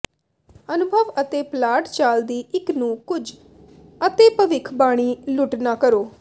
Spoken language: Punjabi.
ਅਨੁਭਵ ਅਤੇ ਪਲਾਟ ਚਾਲ ਦੀ ਇੱਕ ਨੂੰ ਕੁਝ ਅਤੇਭਿਵੱਖਬਾਣੀ ਲੁੱਟ ਨਾ ਕਰੋ